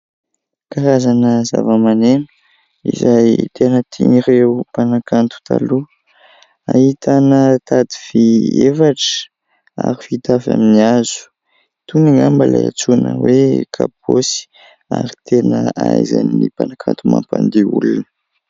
Karazana zavamaneno izay tena tian'ireo mpanakanto taloha, ahitana tady vy efatra ary vita avy amin'ny hazo. Itony angamba ilay antsoina hoe kabosy ary tena ahaizan'ny mpanakanto mampandihy olona.